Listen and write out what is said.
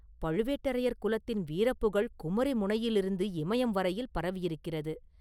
பழுவேட்டரையர் குலத்தின் வீரப்புகழ் குமரி முனையிலிருந்து இமயம் வரையில் பரவியிருக்கிறது.